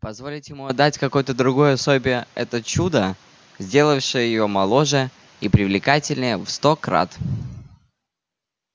позволить ему отдать какой-то другой особе это чудо сделавшее её моложе и привлекательнее в сто крат